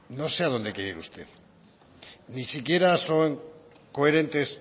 no sé a dónde quiere ir usted ni siquiera son coherentes